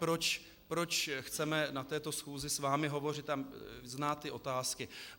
Proč chceme na této schůzi s vámi hovořit a znát ty otázky.